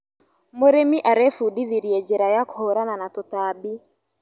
Mũrĩmi arebundithirie njĩra ya kũhũrana na tũtambi.